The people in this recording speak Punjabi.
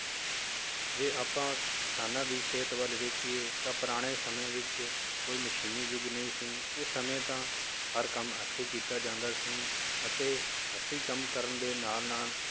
ਜੇ ਆਪਾਂ ਕਿਸਾਨਾਂ ਦੀ ਸਿਹਤ ਵੱਲ ਵੇਖੀਏ ਤਾਂ ਪੁਰਾਣੇ ਸਮੇਂ ਵਿੱਚ ਕੋਈ ਮਸ਼ੀਨੀ ਯੁੱਗ ਨਹੀਂ ਸੀ ਉਸ ਸਮੇਂ ਤਾਂ ਹਰ ਕੰਮ ਹੱਥੀ ਕੀਤਾ ਜਾਂਦਾ ਸੀ ਅਤੇ ਹੱਥੀ ਕੰਮ ਕਰਨ ਦੇ ਨਾਲ ਨਾਲ